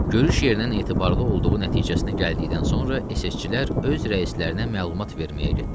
Görüş yerinin etibarlı olduğu nəticəsinə gəldikdən sonra SS-çilər öz rəislərinə məlumat verməyə getdilər.